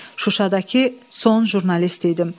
Şuşadakı son jurnalist idim.